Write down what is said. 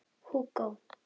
Hugo